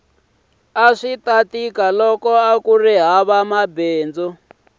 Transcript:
aswita tika loko akuri hava mabindzu